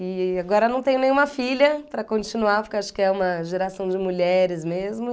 E agora não tenho nenhuma filha para continuar, porque acho que é uma geração de mulheres mesmo.